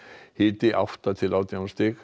hiti átta til átján stig